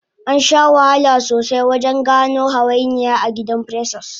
Ansha wahala sosai wajen gano hawainiyan agidan precious